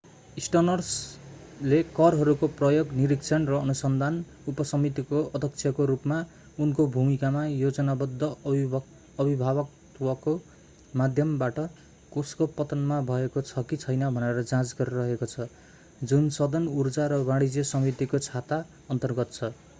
स्टर्न्सले करहरूको प्रयोग निरीक्षण र अनुसन्धान उपसमितिको अध्यक्षको रूपमा उनको भूमिकामा योजनाबद्ध अभिभावकत्वको माध्यमबाट कोषको पतनमा भएको छ कि छैन भनेर जाँच गरिरहेको छ जुन सदन ऊर्जा र वाणिज्य समितिको छाता अन्तर्गत छ